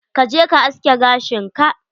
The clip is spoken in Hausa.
Ka je ka aske gashin ka.